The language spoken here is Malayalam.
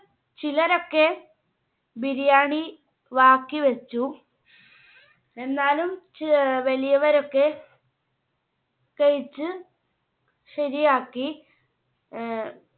ചിലരൊക്കെ ബിരിയാണി ബാക്കി വെച്ചു. എന്നാലും ചെ അഹ് വലിയവരൊക്കെ കഴിച്ച് ശരിയാക്കി. ആഹ്